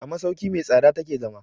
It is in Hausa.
A masauki mai tsada ta ke zama.